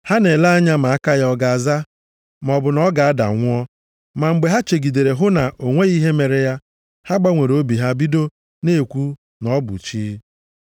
Ha na-ele anya ma aka ya ọ ga-aza, maọbụ na ọ ga-ada nwụọ. Ma mgbe ha chegidere hụ na o nweghị ihe mere ya, ha gbanwere obi ha bido na-ekwu, na ọ bụ chi.